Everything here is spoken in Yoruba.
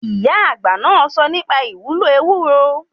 Ìyá àgbà náà sọ nípa ìwúlò ewúro.